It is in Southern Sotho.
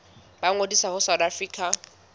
ba ngodise ho south african